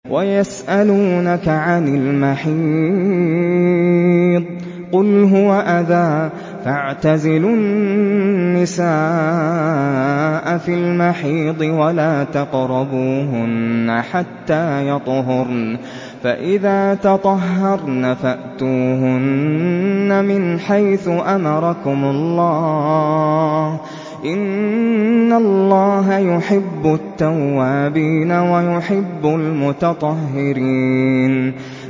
وَيَسْأَلُونَكَ عَنِ الْمَحِيضِ ۖ قُلْ هُوَ أَذًى فَاعْتَزِلُوا النِّسَاءَ فِي الْمَحِيضِ ۖ وَلَا تَقْرَبُوهُنَّ حَتَّىٰ يَطْهُرْنَ ۖ فَإِذَا تَطَهَّرْنَ فَأْتُوهُنَّ مِنْ حَيْثُ أَمَرَكُمُ اللَّهُ ۚ إِنَّ اللَّهَ يُحِبُّ التَّوَّابِينَ وَيُحِبُّ الْمُتَطَهِّرِينَ